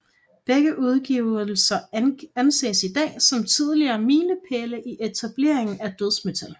Begge udgivelser anses i dag som tidlige miliepæle i etableringen af dødsmetal